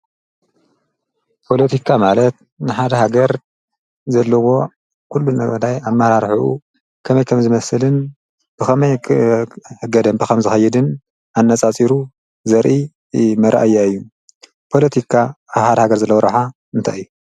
ጶሎቲካ ማለት ንሓደ ሃገር ዘለዎ ኲሉ ነቕዳይ ኣብ ማራርኁኡ ከመይ ከም ዝመስልን ብኸመይ ሕገደም ብኸም ዝኸይድን ኣነጻፂሩ ዘርኢ መረአያ እዩ ጶሎቲካ ሓድ ሃገር ዘለዉረዓ እንታይ እዩ።